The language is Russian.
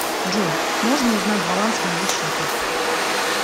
джой можно узнать баланс моего счета